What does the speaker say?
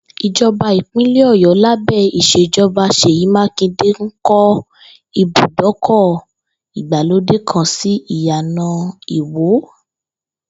Ìjò̩bá ìpínlè̩ Ò̩yó̩ lábé̩ ìs̩èjo̩ba S̩èyí Mákindé ń kó ibùdókò̩ ìgbàlódé kan sí Ìyàná Ìwó